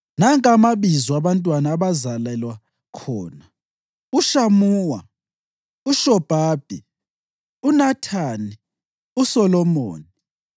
Nanka amabizo abantwana abazalelwa khona: uShamuwa, uShobabi, uNathani, uSolomoni,